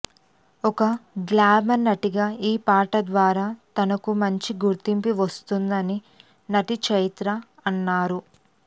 ఒక గ్లామర్ నటిగా ఈ పాట ద్వారా తనకు మంచి గుర్తింపు వస్తుందని నటి చైత్ర అన్నారు